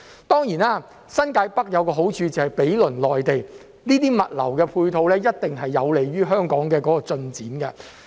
當然，新界北有一個好處就是毗鄰內地，這些物流的配套一定有利於香港的進展。